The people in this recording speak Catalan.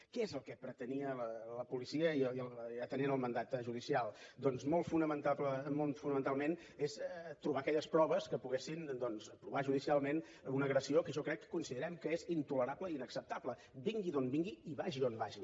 què és el que pretenia la policia atenent al mandat judicial doncs molt fonamentalment és trobar aquelles proves que poguessin provar judicialment una agressió que jo crec que considerem que és intolerable i inacceptable vingui d’on vingui i vagi on vagi